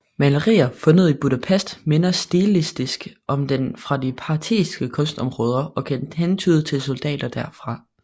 Malerier fundet i Budapest minder stilistisk om dem fra det parthiske kunstområde og kan hentyde til soldater derfra